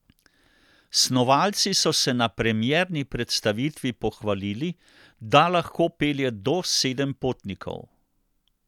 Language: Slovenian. Snovalci so se na premierni predstavitvi pohvalili, da lahko pelje do sedem potnikov.